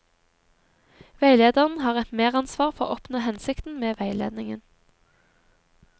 Veilederen har et meransvar for å oppnå hensikten med veiledningen.